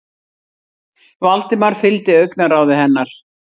Valdimar fylgdi augnaráði hennar.